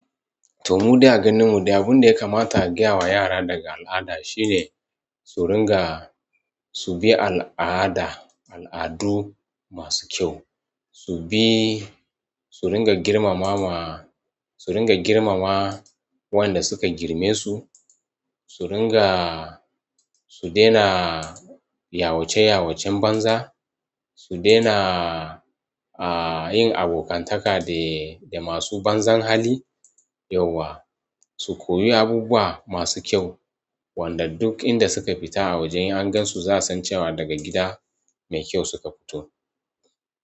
To! Mu dai a ganin mu dai abun da ya kamata a gaya wa yara daga al'ada shine su ringa su bi al'ada, al'adu masu kyau, su bi su ringa girmamawa, su ringa girmama waɗanda suka girme su, su ringa su daina yawace-yawacen banza, su daina a yin abokantaka da masu banza hali, yauwa, su koyi abubuwa masu kyau, wanda duk inda suka fita a waje an gan su za su san cewa daga gida mai kyau suka fito.